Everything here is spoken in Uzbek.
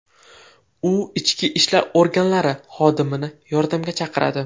U ichki ishlar organlari xodimini yordamga chaqiradi.